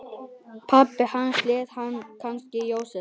Pabbi hans hét kannski Jósef.